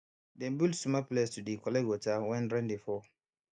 dem build small place to dey collect water when rain dey fall